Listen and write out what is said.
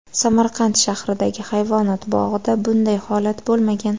Samarqand shahridagi hayvonot bog‘ida bunday holat bo‘lmagan.